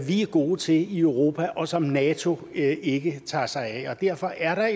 vi er gode til i europa og som nato ikke tager sig af og derfor er